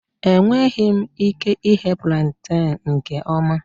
Enweghị m ike ighe plantain nke ọma